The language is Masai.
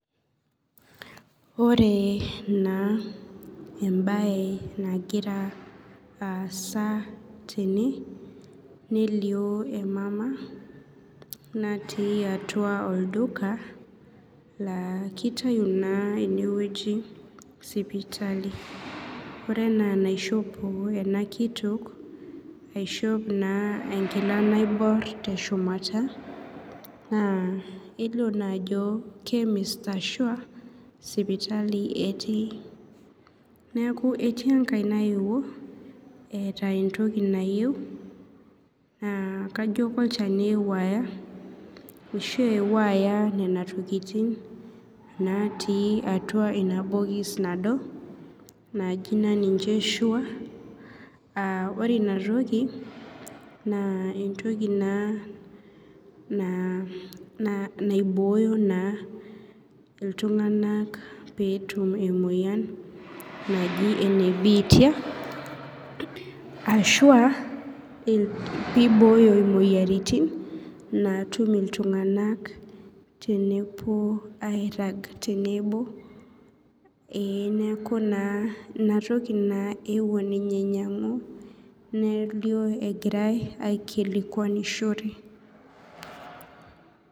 Ore naa embae nagira aasa tene nelio emama natii atua oldukala kitau na enewui sipitali ore ena enaishope enakitok aishop na enkila naibor teshumata na kelio na ajo kemist ashua sipitali etii neaku etii enkae naeua eeta entoki nayieu kajo na olchani ashu ewua aya nona tokitin natii atua inatoki nado naji na ninche sure aa ore inatoki na entoki na naibooyo na ltunganak petum emoyian naji enebiitia ashu aa piboyo imoyiaritin natum iltunganak teneirag iltunganak tenebo ee neaku na inatoki naa ewuo ninye ainyangu nelio egirai aikilikwanishore.